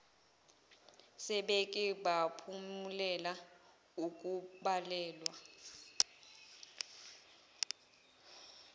sebeke baphumelela ukubaleka